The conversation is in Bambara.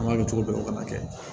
An b'a kɛ cogo dɔw fana kɛ